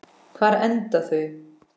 Hvar enda þau?